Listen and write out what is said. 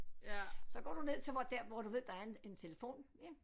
Så går du ned til hvor der hvor du ved der er en en telefon